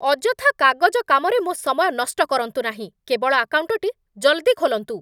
ଅଯଥା କାଗଜ କାମରେ ମୋ' ସମୟ ନଷ୍ଟ କରନ୍ତୁ ନାହିଁ। କେବଳ ଆକାଉଣ୍ଟଟି ଜଲ୍‌ଦି ଖୋଲନ୍ତୁ!